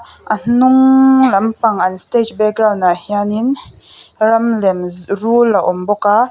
a hnung lampang an stage background ah hianin ram lem rul a awm bawka.